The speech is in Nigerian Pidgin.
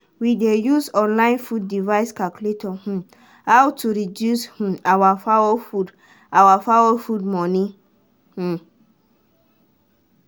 we dey use online food device calculator um how to reduce um our fowl food our fowl food money. um